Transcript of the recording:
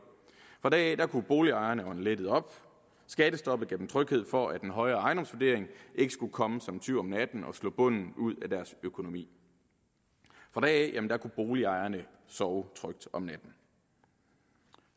fra da af kunne boligejerne ånde lettet op skattestoppet gav dem tryghed for at en højere ejendomsvurdering ikke skulle komme som en tyv om natten og slå bunden ud af deres økonomi fra da af kunne boligejerne sove trygt om natten